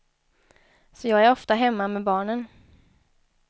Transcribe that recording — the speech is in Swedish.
Så jag är ofta hemma med barnen.